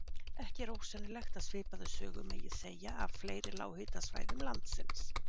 Ekki er ósennilegt að svipaða sögu megi segja af fleiri lághitasvæðum landsins.